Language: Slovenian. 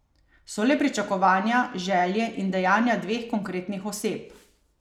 So le pričakovanja, želje in dejanja dveh konkretnih oseb.